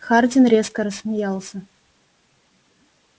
хардин резко рассмеялся